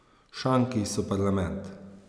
Šanki so parlament.